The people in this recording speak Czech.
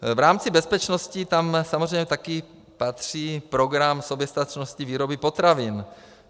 V rámci bezpečnosti - tam samozřejmě také patří program soběstačnosti výroby potravin.